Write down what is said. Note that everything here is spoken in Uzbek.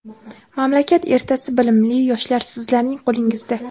Mamlakat ertasi bilimli yoshlar - sizlarning qo‘lingizda.